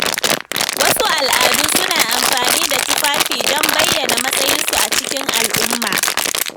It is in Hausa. Wasu al’adu suna amfani da tufafi don bayyana matsayinsu a cikin al’umma.